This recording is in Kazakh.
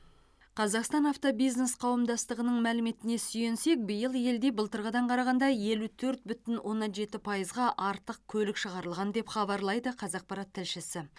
қазақстан автобизнес қауымдастығының мәліметіне сүйенсек биыл елде былтырғыдан қарағанда елу төрт бүтін оннан жеті пайыз артық көлік шығарылған деп хабарлайды қазақпарат тілшісі